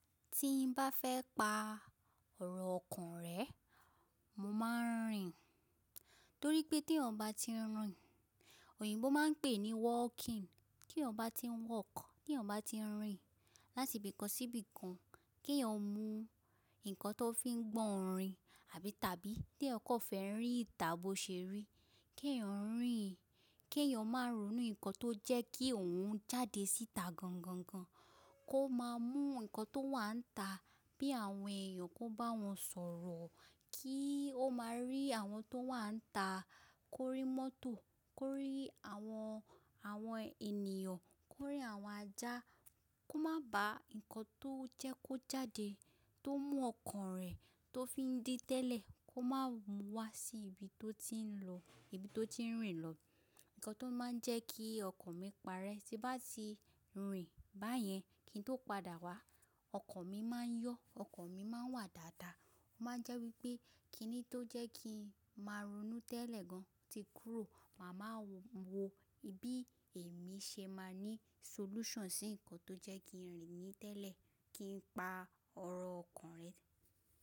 Tí n bá fẹ́ pa ọ̀rọ̀ ọkàn rẹ, mo máa ń rìn. Torí pé tí èèyàn bá ti ń rìn, oyinbó máa ń pè ní walking. Ti èèyàn bá ti ń walk, kí èèyàn bá ti ń rìn láti ibì kan sí ibì kan, kí èèyàn mú nǹkan tó fi ń gbọ̀ orin àbí tàbí tí èèyàn kò fẹ́ rí ìtà bo ṣeré, kí èèyàn ń rìn, kí èèyàn máa ronú nǹkan tó jẹ́ kí òun jáde síta gangan gan, kó máa mú nǹkan tó wà níta bí àwọn èèyàn kó bá wọn sọ̀rọ̀, kí ó máa rí àwọn tó wà níta, kó rí mọ́tò, kó rí àwọn, àwọn ènìyàn, kó rí àwọn ajá, kó má ba nǹkan tó jẹ́ kó jáde tó mú ọkàn rẹ̀ tó fi ń dí tẹ́lẹ̀, kó má mú wá sí ibi tó ti ń lọ, ibi tó ti ń rìn lọ. Nǹkan tó máa ń jẹ́ kí ọkàn mi parẹ́ tí bá ti ń rìn báyẹn, kí n tó padà wá, ọkàn mi má ń yọ, ọkàn mi má ń wà dáadáa. Ó má ń jẹ́ wípé kí ni tó jẹ́ kí ń máa ronú tẹ́lẹ̀ gan, tí kúrò, màá wáa wo bi èmi ṣe máa ní solution sí nǹkan tó jẹ́ kí ń rìn ní tẹ́lẹ̀ kí n pa ọ̀rọ̀ ọkàn rẹ.